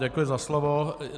Děkuji za slovo.